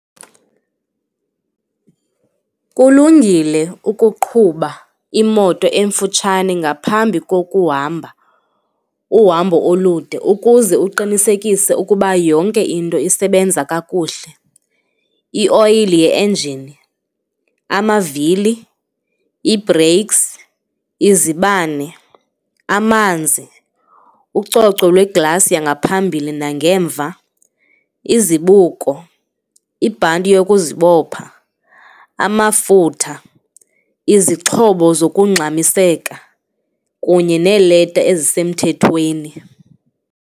Kulungile ukuqhuba imoto emfutshane ngaphambi kokuhamba uhambo olude ukuze uqinisekise ukuba yonke into isebenza kakuhle, ioyile, ienjini, amavili, iibhreyiksi, izibane, amanzi ucoco lwe-glass yangaphambili nangemva, izibuko, ibhanti lokuzibopha, amafutha, izixhobo zokungxamiseka kunye neeleta ezisemthethweni.